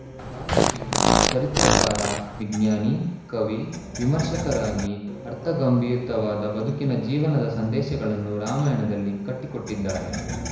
ವಾಲ್ಮೀಕಿಯು ಚರಿತ್ರೆಕಾರ ವಿಜ್ಞಾನಿ ಕವಿ ವಿಮರ್ಶಕರಾಗಿ ಅರ್ಥಗಂರ್ಭಿತವಾದ ಬದುಕಿನ ಜೀವನದ ಸಂದೇಶಗಳನ್ನು ರಾಮಾಯಣದಲ್ಲಿ ಕಟ್ಟಿಕೊಟ್ಟಿದ್ದಾರೆ